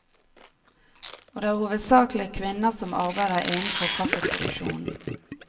Og det er hovedsakelig kvinner som arbeider innenfor kaffeproduksjonen.